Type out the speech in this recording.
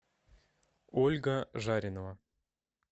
ольга жаринова